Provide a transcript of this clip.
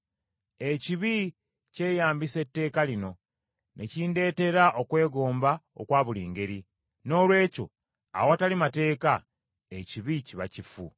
Ekibi kyeyambisa etteeka lino, ne kindeetera okwegomba okwa buli ngeri. Noolwekyo awatali mateeka, ekibi kiba kifu.